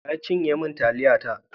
Wa ya cinye min taliyata?